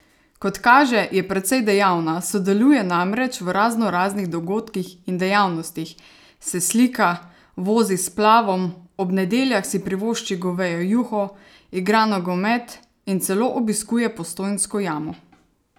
Kot kaže, je precej dejavna, sodeluje namreč v raznoraznih dogodkih in dejavnostih, se slika, vozi s splavom, ob nedeljah si privošči govejo juho, igra nogomet in celo obiskuje Postojnsko jamo!